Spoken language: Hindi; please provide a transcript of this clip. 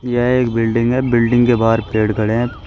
यह एक बिल्डिंग है बिल्डिंग के बाहर पेड़ खड़े हैं।